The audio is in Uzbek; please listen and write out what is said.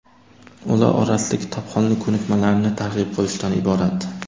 ular orasida kitobxonlik ko‘nikmalarini targ‘ib qilishdan iborat.